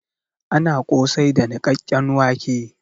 Ana kosai da nikkaken wãke.